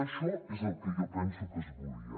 això és el que jo penso que es volia